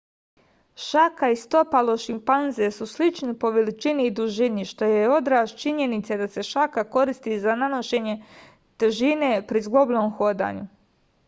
šaka i stopalo šimpanze su slični po veličini i dužini što je odraz činjenice da se šaka koristi za nošenje težine pri zglobnom hodanju